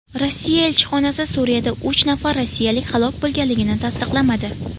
Rossiya elchixonasi Suriyada uch nafar rossiyalik halok bo‘lganligini tasdiqlamadi.